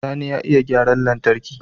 Sani ya iya gyaran lantarki